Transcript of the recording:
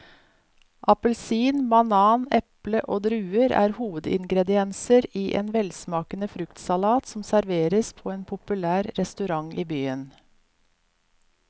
Appelsin, banan, eple og druer er hovedingredienser i en velsmakende fruktsalat som serveres på en populær restaurant i byen.